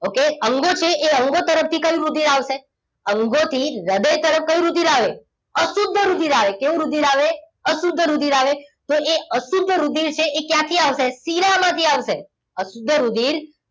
Okay અંગો છે એ અંગો તરફથી કયુ રુધિર આવશે અંગોથી હૃદય તરફ કયું રુધિર આવે અશુદ્ધ રુધિર આવે કેવું રુધિર આવે અશુદ્ધ રુધિર આવે તો એ આ શુદ્ધ રુધિર છે એ ક્યાંથી આવશે શિરામાંથી આવશે અશુદ્ધ રુધિર